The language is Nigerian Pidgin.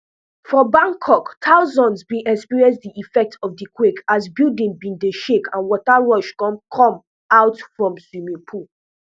for bangkok thousands bin experience di effects of di quake as buildings bin dey shake and water rush come come out from swimming pools